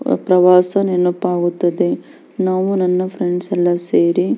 ಪ್ರವಾಸ ನೆನಪಾಗುತದೆ ನಾವು ನನ್ನ ಫ್ರೆಂಡ್ಸ್ ಎಲ್ಲ ಸೇರಿ--